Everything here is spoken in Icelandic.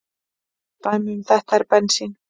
Dæmi um þetta er bensín.